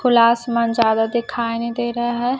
खुला आसमान ज्यादा दिखाई नहीं दे रहा है।